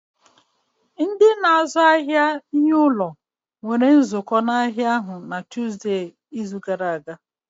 Ndị na-azụ ahịa ihe ụlọ nwere nzukọ n'ahịa ahụ na Tuzdee, izu gara aga